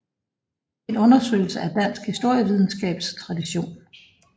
En undersøgelse af dansk historievidenskabs tradition